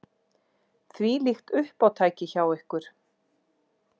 Þvílíkt uppátæki hjá ykkur!